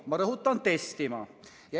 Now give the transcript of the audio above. Ma rõhutan: testima.